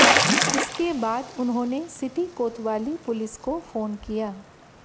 इसके बाद उन्होंने सिटी कोतवाली पुलिस को फोन किया